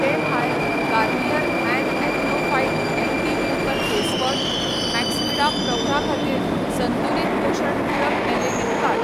ते भायर, Garnier men Acno fight anti pimple face wash, Maxvida प्रौढां खातीर संतुलित पोशण पूरक हें लेगीत काड.